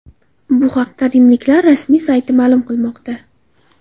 Bu haqda rimliklar rasmiy sayti ma’lum qilmoqda .